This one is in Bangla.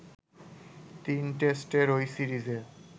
তিন টেস্টের ওই সিরিজে